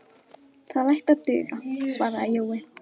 Það ætti að duga, svaraði Jói.